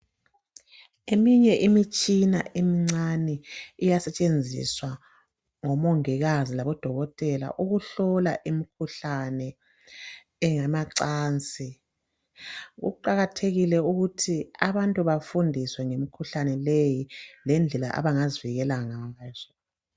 Eminye imitshina emncane iyasetshenziswa ngomongikazi labodokotela ukuhlola imikhuhlane eyamacansi kuqakathekile ukuthi abantu bafundiswe ngemikhuhlane leyi lendlela abazivikela ngazo.